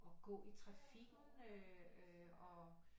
Og så i trafikken og